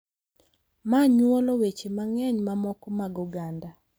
Ma nyuolo weche mang’eny mamoko mag oganda .